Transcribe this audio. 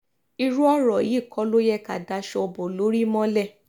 irú ọ̀rọ̀ yìí kọ́ ló yẹ ká daṣọ bo lórí mọ́lẹ̀